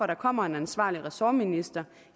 der kommer en ansvarlig ressortminister